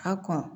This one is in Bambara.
A kɔn